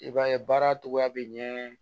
I b'a ye baara cogoya bɛ ɲɛ